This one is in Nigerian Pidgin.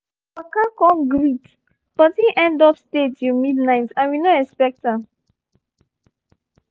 he waka come greet but him end up stay till midnight and we no expect am